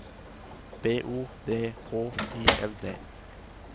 B O D H I L D